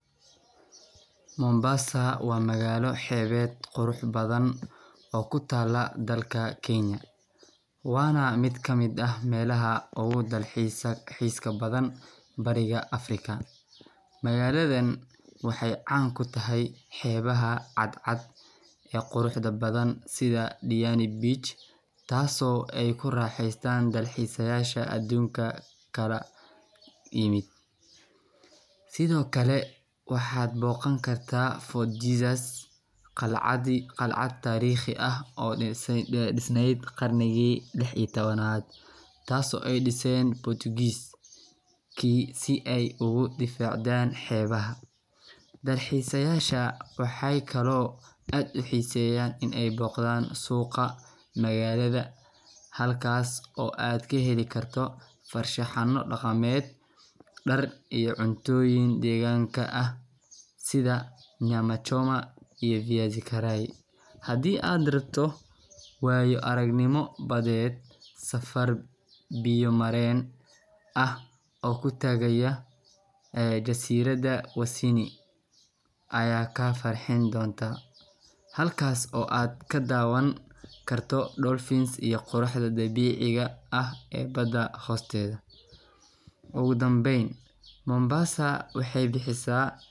Mombasa waa magalo xebeed qurux badan oo kutala dalka kenya, wana melaha ogu dalxiska badan bariga africa, magaladan waxee can kutahay xebaha cad cad ee quruxda badan sitha Deani bich tas oo ee ku raxestan raxestayaasha adunka kala imiid, sithokale waxaa bogan kartaa fourth jesus qalcaad tariqi ah oo disneed qarnigi lix iyo tawanaad tas oo ee disen Portugalish si ee ogu difacdan xebaha, dalxisayasha waxee kalo aad u xiseyan in ee boqdan suqa magalaada halkas oo aad ka heli karto farshaaxamo daqameed dar iyo cuntoyin deganka ah sitha nyama shoma iyo viazi karai, hadii aad rabto in aad aragto waya arag nimo badeed biya maren ah oo kutagaya jasiraaada aya ka farxini donta, halkas oo aad ka dawan karto quraxda dabiciga ah ee bada hosteeda, ugu Danben mombasa waxee bixisa.